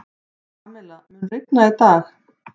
Pamela, mun rigna í dag?